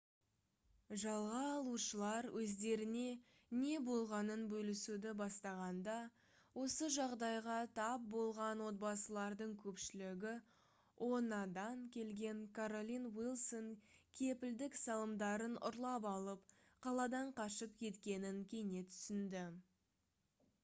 жалға алушылар өздеріне не болғанын бөлісуді бастағанда осы жағдайға тап болған отбасылардың көпшілігі oha-дан келген каролин уилсон кепілдік салымдарын ұрлап алып қаладан қашып кеткенін кенет түсінді